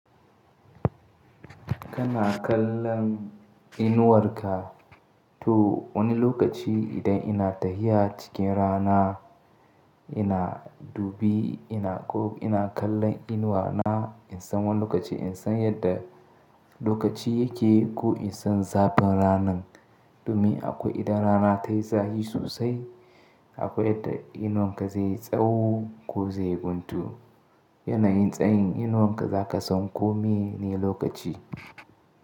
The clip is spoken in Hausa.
Kana kallon inuwarka. To wani lokaci idan ina tahiya cikin rana, ina dubi ina ko ina kallon inuwa na in san wani lokaci in san yadda lokaci yake ko in san zafin ranan. Domin akwai idan rana tayi zafi sosai, akwai yadda inuwarka zai yi tsawo ko zai guntu. Yanayin tsayin inuwarka za ka san ko mene lokaci.